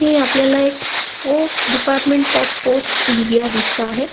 ही आपल्याला एक post department of post India दिसत आहे.